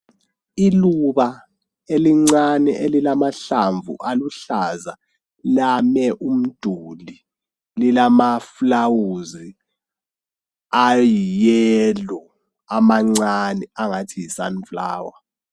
Iluba elincane elilamahlamvu aluhlaza lame umduli lilama flawuzi ayi yelo amancane angathi yi sunflower.